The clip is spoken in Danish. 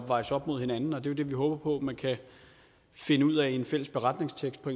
vejes op mod hinanden og det er jo det vi håber på man kan finde ud af i en fælles beretningstekst på